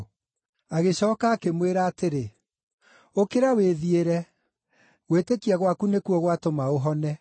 Agĩcooka akĩmwĩra atĩrĩ, “Ũkĩra wĩthiĩre; gwĩtĩkia gwaku nĩkuo gwatũma ũhone.”